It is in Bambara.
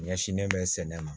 Ɲɛsinnen bɛ sɛnɛ ma